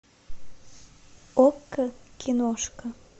окко киношка